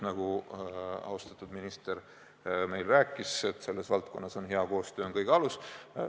Nagu austatud minister meile rääkis, on hea koostöö selles valdkonnas kõige alus.